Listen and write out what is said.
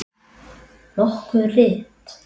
Nokkur rit